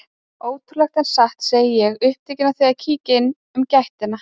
Ótrúlegt en satt, segi ég, upptekin af því að kíkja inn um gættina.